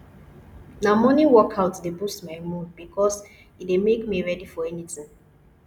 na morning workout dey boost my mood bikos e dey make me ready for anything